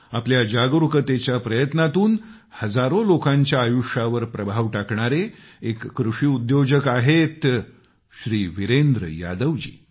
आपल्या जागरूकतेच्या प्रयत्नांतून हजारो लोकांच्या आयुष्यावर प्रभाव टाकणारे एक कृषी उद्योजक आहेत श्री वीरेंद्र यादव जी